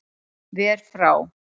Ver frá